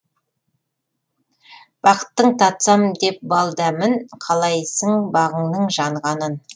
бақыттың татсам деп бал дәмін қалайсың бағыңның жанғанын